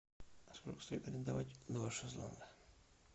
сколько стоит арендовать два шезлонга